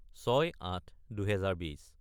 : 06-08-2020